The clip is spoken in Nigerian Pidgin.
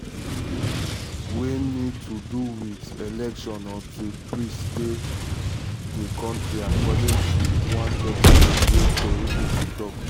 wey need to do wit elections until peace dey dey di kontri according to one document wey tori pipo afp see.